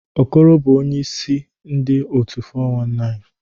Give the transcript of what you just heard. Okoro bụbu onye ise ndu otu 419